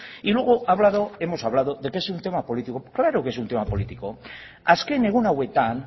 y luego ha hablado hemos hablado de que es un tema político claro que es un tema político azken egun hauetan